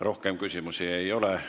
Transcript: Rohkem küsimusi ei ole.